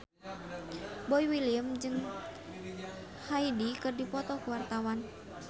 Boy William jeung Hyde keur dipoto ku wartawan